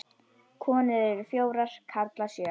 Konur eru fjórar, karlar sjö.